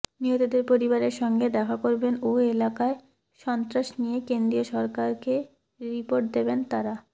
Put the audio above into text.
নিহতদের পরিবারের সঙ্গে দেখা করবেন ও এলাকায় সন্ত্রাস নিয়ে কেন্দ্রীয় সরকারকে রিপোর্ট দেবেন তাঁরা